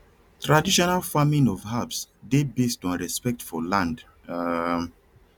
traditional farming of herbs dey based on respect for land um